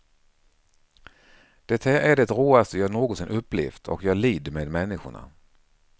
Det här är det råaste jag någonsin upplevt och jag lider med människorna.